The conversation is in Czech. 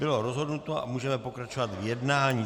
Bylo rozhodnuto a můžeme pokračovat v jednání.